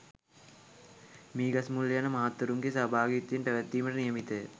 මීගස්මුල්ල යන මහත්වරුන්ගේ සහභාගිත්වයෙන් පැවැත්වීමට නියමිතය.